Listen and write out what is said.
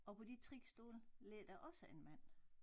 Og på de 3 stole ligger der også en mand